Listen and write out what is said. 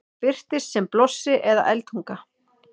það birtist sem blossi eða eldtunga